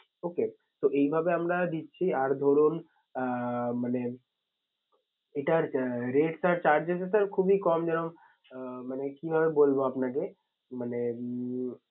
Okay তো এই ভাবে আমরা দিচ্ছি আর ধরুন আহ মানে এটার rate আর changes খুবই কম যেরম আহ মানে কিভাবে বলবো আপনাকে মানে উম